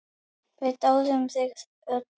Við dáðum þig öll.